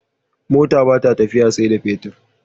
Mota bata tafiya sai da fetir